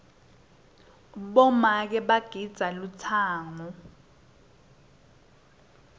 bomake bagidza lutsango